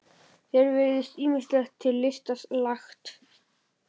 Þér virðist ýmislegt til lista lagt.